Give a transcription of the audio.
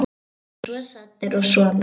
Allir svo saddir og svona.